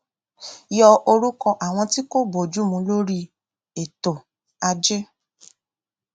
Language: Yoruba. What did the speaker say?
yọ orúkọ àwọn tí kò bójú mu lórí ètò ajé